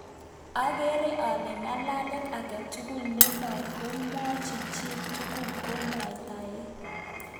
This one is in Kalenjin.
Agere ale ng'alalet age tugul ne magoimwochi chiitng'ung ko ngwektaet